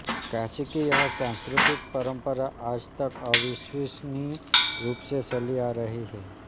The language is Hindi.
काशी की यह सांस्कृतिक परंपरा आज तक अविच्छिन्न रूप से चली आ रही है